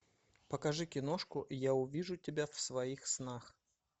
покажи киношку я увижу тебя в своих снах